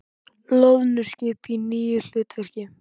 Loðnuskip í nýju hlutverki